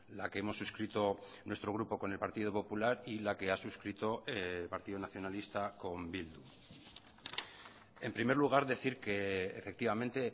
la que hemos suscrito nuestro grupo con el partido popular y la que ha suscrito el partido nacionalista con bildu en primer lugar decir que efectivamente